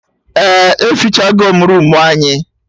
Eh, efichagom roomu anyị